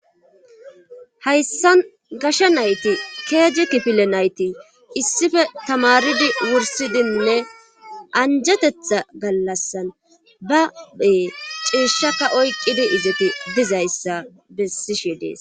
Hayssan gasha nayti keeji kifile nayti issife tamaridi wursidinne anjetetha gallassan ba bee ciishaka oykqqidi izoti dizayssa bessishe dees.